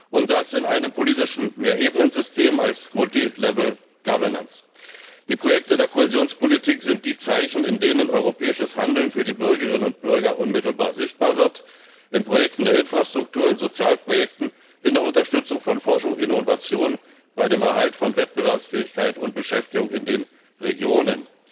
Und das in einem politischen Mehrebenensystem, als Die Projekte der Kohäsionspolitik sind die Zeichen, in denen europäisches Handeln für die Bürgerinnen und Bürger unmittelbar sichtbar wird in Projekten der Infrastruktur, in Sozialprojekten, in der Unterstützung von Forschung, Innovation, bei dem Erhalt von Wettbewerbsfähigkeit und Beschäftigung in den Regionen.